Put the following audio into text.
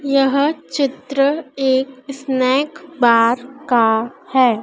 यह चित्र एक स्नेक बार का है।